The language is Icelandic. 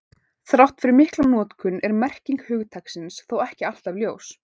Þrátt fyrir mikla notkun er merking hugtaksins þó ekki alltaf ljós.